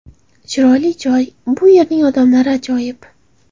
Chiroyli joy, bu yerning odamlari ajoyib.